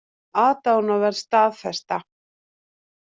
Aðdáunarverð staðfesta